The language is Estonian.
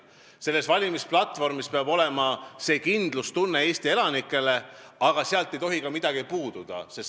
Selles valimisplatvormis peab olema kindlustunne, mida pakutakse Eesti elanikele, aga sealt ei tohi ka midagi puududa.